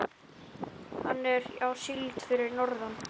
Hann er á síld fyrir norðan.